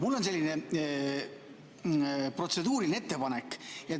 Mul on selline protseduuriline ettepanek.